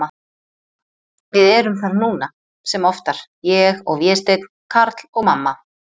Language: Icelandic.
Við erum þar núna, sem oftar, ég og Vésteinn, Karl og mamma.